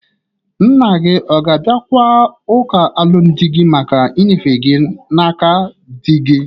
Nna gi ọ ga-abịakwa ụka alụmdị gi maka inyefe gi n'aka dị gi?